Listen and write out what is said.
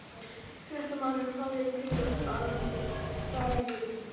Fréttamaður: Hvað, eruð þið bara öllu vön?